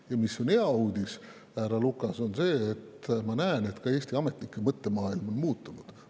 Ja hea uudis, härra Lukas, on see, et ma näen, et ka Eesti ametnike mõttemaailm on muutunud.